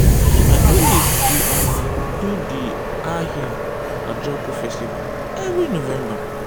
my village dey um do di ahia ajoku festival every november.